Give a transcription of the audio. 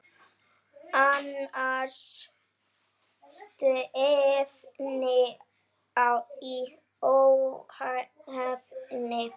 Annars stefni í óefni.